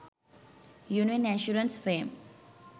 union assurance fame